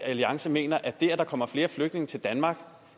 alliance mener at det at der kommer flere flygtninge til danmark